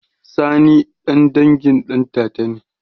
Sani ɗan dangin ɗantata ne?